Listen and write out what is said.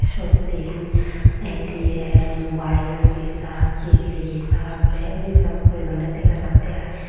seyot dian atm mobile resars T_V resars bek resars guri donde dega jattey ai.